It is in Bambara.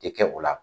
Tɛ kɛ o la